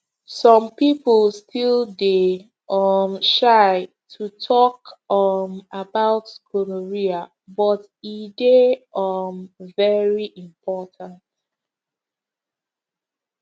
some people still dey um shy to talk um about gonorrhea but e dey um very important